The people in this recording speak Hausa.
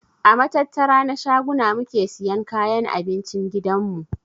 A matattara na shaguna muke siyan kayan abincin gidan mu.